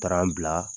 bila